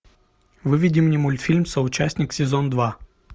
выведи мне мультфильм соучастник сезон два